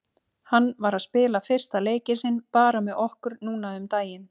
Hann var að spila fyrsta leikinn sinn bara með okkur núna um daginn.